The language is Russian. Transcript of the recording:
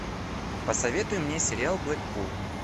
посоветуй мне сериал блэкпул